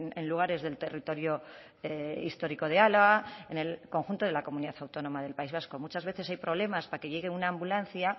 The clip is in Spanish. en lugares del territorio histórico de álava en el conjunto de la comunidad autónoma del país vasco muchas veces hay problemas para que llegue una ambulancia